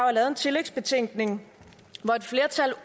er lavet en tillægsbetænkning hvor et flertal